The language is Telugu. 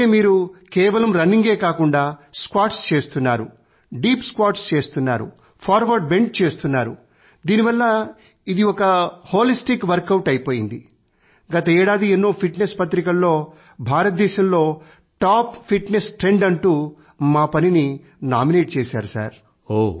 దీని వల్ల మీరు కేవలం రన్నింగే కాకుండా స్క్వాట్స్ చేస్తున్నారు దీప్ స్క్వాట్స్ చేస్తున్నారు లంజెస్ చేస్తున్నారు ఫార్వర్డ్ బెంట్ చేస్తున్నారు దీనివల్ల ఇది ఒక హోలిస్టిక్ వర్క్ ఔట్ అయిపోయింది | గత ఏడాది ఎన్నో ఫిట్నెస్ పత్రికలలో భారతదేశంలో టాప్ ఫిట్నెస్ ట్రెండ్ అంటూ మా పనిని నామినేట్ చేశారు